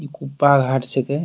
इ कुप्पा घाट छिके।